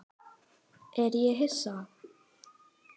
Er ég Hissa?